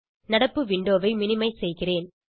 நடப்பு விண்டோவை மினிமைஸ் செய்கிறேன்